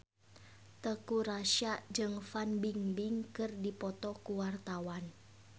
Teuku Rassya jeung Fan Bingbing keur dipoto ku wartawan